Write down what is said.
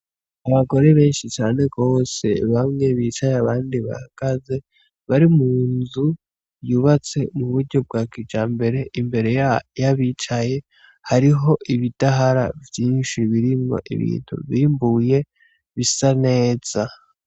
Abagore benshi cane gose bamwe bicaye abandi bahagaze bari mu nzu yubatse mu buryo bwa kijambere imbere yabicaye hariho ibidahara vyinshi birimwo ibintu bimbuye bisa neza.